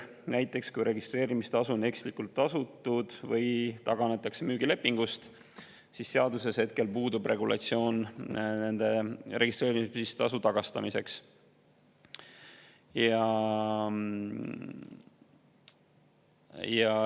Näiteks kui registreerimistasu on ekslikult tasutud või taganetakse müügilepingust, siis seaduses hetkel puudub regulatsioon nende registreerimistasude tagastamiseks.